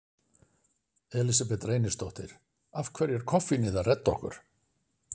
Elísabet Reynisdóttir: Af hverju er koffínið að redda okkur?